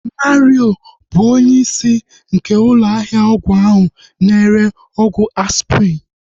Mario bụ onye isi nke ụlọ ahịa ọgwụ ahu na-ere ọgwụ Aspirin